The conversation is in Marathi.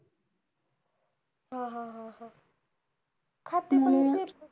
हा हा हा हा. हा ते पण काही